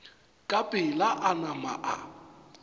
ka pela a nama a